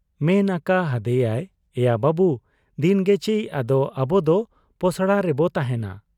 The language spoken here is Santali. ᱢᱮᱱ ᱟᱠᱟ ᱦᱟᱫᱮᱭᱟᱭ ᱼᱼ 'ᱮᱭᱟ ᱵᱟᱹᱵᱩ ! ᱫᱤᱱᱜᱮᱪᱤ ᱟᱫᱚ ᱟᱵᱚᱫᱚ ᱯᱚᱥᱲᱟ ᱨᱮᱵᱚ ᱛᱟᱦᱮᱸᱱᱟ ᱾